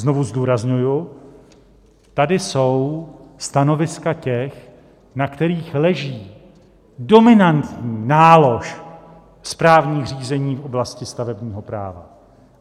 Znovu zdůrazňuji, tady jsou stanoviska těch, na kterých leží dominantní nálož správních řízení v oblasti stavebního práva.